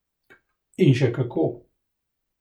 In še kako.